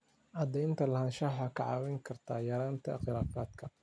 Cadaynta lahaanshaha waxay kaa caawin kartaa yaraynta khilaafaadka.